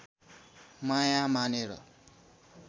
माया मानेर